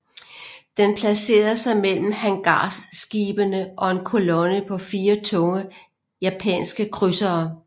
Den placerede sig mellem hangarskibene og en kolonne på fire tunge japanske krydsere